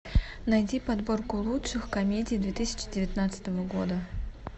найди подборку лучших комедий две тысячи девятнадцатого года